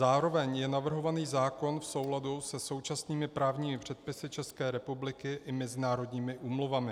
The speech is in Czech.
Zároveň je navrhovaný zákon v souladu se současnými právními předpisy České republiky i mezinárodními úmluvami.